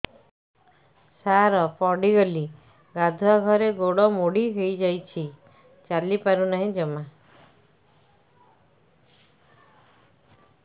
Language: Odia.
ସାର ପଡ଼ିଗଲି ଗାଧୁଆଘରେ ଗୋଡ ମୋଡି ହେଇଯାଇଛି ଚାଲିପାରୁ ନାହିଁ ଜମା